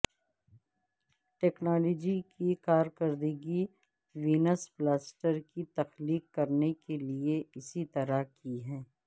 technology کی کارکردگی وینس پلاسٹر کی تخلیق کرنے کے لئے اسی طرح کی ہے